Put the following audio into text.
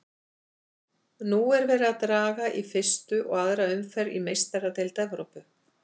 Nú er verið að draga í fyrstu og aðra umferð í Meistaradeild Evrópu.